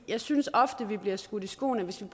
jeg synes ofte at vi bliver skudt i skoene at hvis vi